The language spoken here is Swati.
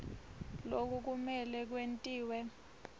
loku kumele kwentiwe